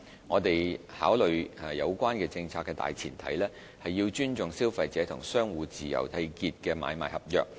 我們考慮有關政策的大前提，是要尊重消費者與商戶自由締結的買賣合約。